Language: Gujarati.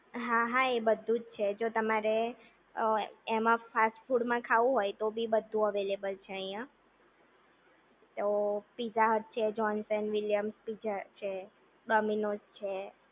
હા હા એ બધું જ છે જો તમારે એમ ફાસ્ટફૂડ ખાવું હોય તો ભી બધું અવેલેબલ છે અહીંયા પીઝા હટ છે જોન્સ એન્ડ વિલિયમ પિઝા છે, ડોમિનોઝ છે.